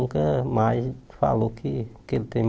nunca mais falou que que ele tem